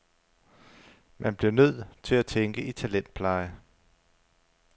Man bliver nødt til at tænke i talentpleje.